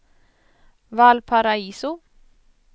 Valparaiso